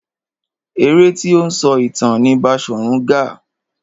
Eré tí ó ń sọ ìtàn ni Baṣòrun Gaa.